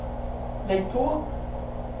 lägg på